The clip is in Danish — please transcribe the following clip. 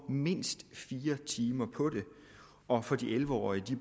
mindst fire timer på det og for de elleve årige